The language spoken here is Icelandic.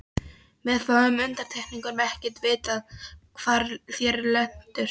Með fáum undantekningum er ekkert vitað hvar þeir lentu.